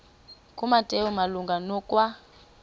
kumateyu malunga nokwa